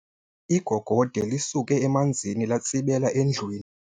Igogode lisuke emanzini latsibela endlwini.